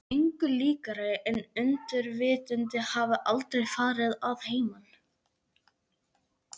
Samt engu líkara en undirvitundin hafi aldrei farið að heiman.